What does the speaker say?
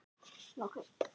Svava, Eva, Ari og Rúnar.